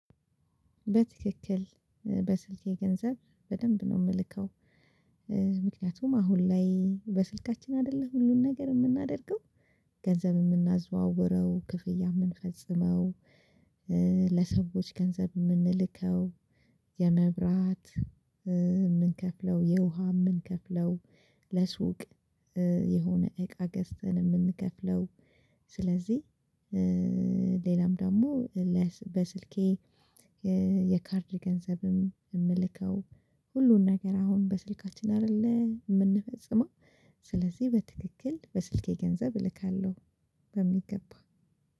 በትክክል በስልኬ ገንዘብ በደንብ ነው የምልከው። ምክንያቱም አሁን ላይ በስልካችን አደለ ሁሉን ነገር የምናደርገው ገንዘብ የምናዘዋውረው ክፍያ የምንፈጽመው ለሰዎች ገንዘብ የምንልከው የመብራት እምንከፍለው የውሃ እምንከፍለው ለሱቅ የሆነ እቃ ገዝተን እምንከፍለው። ስለዚህ ሌላም ደግሞ በስልኬ የካርድ ገንዘብም የምልከው ሁሉን ነገር አሁን በስልካችን አይደለ የምንፈጽመው ስለዚህ በትክክል በስልኬ ገንዘብ እልካለሁ። በሚገባ